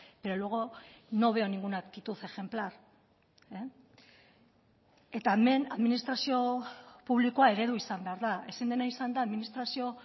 pero luego no veo ninguna actitud ejemplar eta hemen administrazio publikoa eredu izan behar da ezin dena izan da administrazio